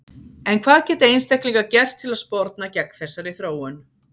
En hvað geta einstaklingar gert til að sporna gegn þessari þróun?